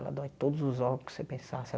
Ela dói todos os órgãos que você pensasse.